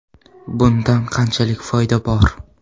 Bundan qanchalik foyda bor?